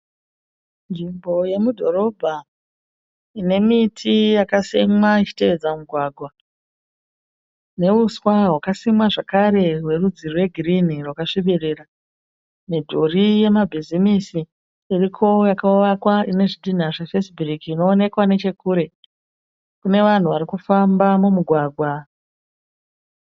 Nzvimbo yemudhorobha inemiti yakasimwa ichitevedza mugwagwa neuswa hwakasimwa zvakare werudzi rwegirinhi zvakasvibirira. Midhuri yemabhizimisi iriko yakavakwa inezvidhinha zvefesibhuriki inoonekwa nechekure. Kune vanhu varikufamba mumugwagwa.